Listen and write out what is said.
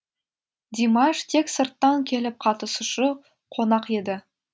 димаш тек сырттан келіп қатысушы қонақ еді